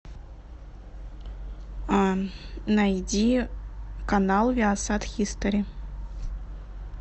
найди канал виасат хистори